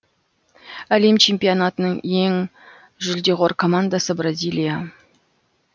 әлем чемпионатының ең жулдеқор командасы бразилия